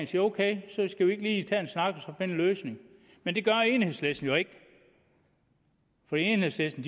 sige ok skal vi ikke lige tage en snak og en løsning men det gør enhedslisten jo ikke for enhedslisten